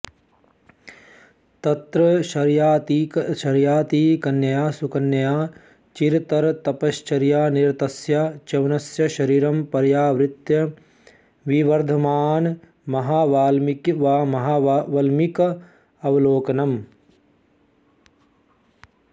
तत्र शर्यातिकन्यया सुकन्यया चिरतरतपश्चर्यानिरतस्य च्यवनस्य शरीरं पर्यावृत्य विवर्धमानमहावल्मीकावलोकनम्